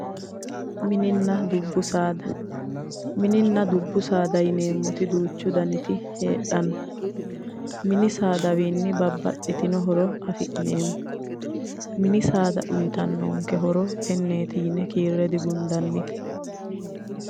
Mininna dubbu saada, Mininna dubbu saada yineemmoti duuchu daniti heedhanno, mini saadawiinni bababxitino horo afi'neemmo mini saada uuyiitannonke horo tenneeti yine kiirre digundannite.